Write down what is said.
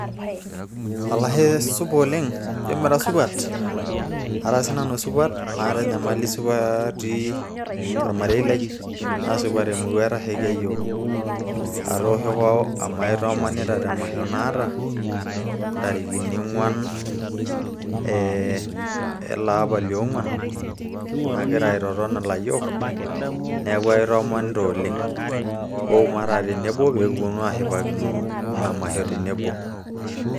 olashe supa oleng jio mira supat ara siinanu supat maata enyamali isupati olmare lai naasupat emurua etashaikia yiook aatooshoko amu aitoomonita te masho naata ntarikini ong'uan e ele apa liong'uan nagira aitoton ilayiok neeku aitoomonita oleng wou mataa tenebo pee kiponu aashipakino ina masho tenebo.